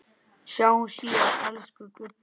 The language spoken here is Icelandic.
Sjáumst síðar, elsku Gulli.